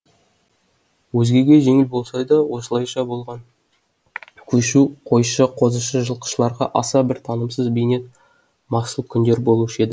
өзгеге жеңіл болса да осылайша болған көшу қойшы қозышы жылқышыларға аса бір тынымсыз бейнет масыл күндер болушы еді